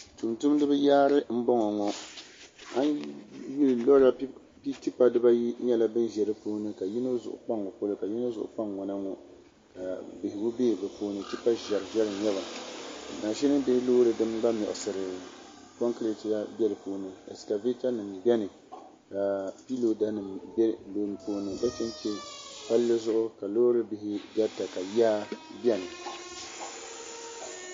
niribi n ʒɛ tigbani shɛbi ʒɛmi ka shɛbi gbaya ban ʒɛya ŋɔ ni yɛnga nyɛla do o yɛla liga piɛlli ka so jijinjam ka kurɔsi o naba ka miribaayi za bɛ sunsuuni bɛ ni yino nyɛla soja o yɛla o yuniƒɔm ka so za n baɣigo haŋ o yɛla chichini liga ka so jinjam sabinli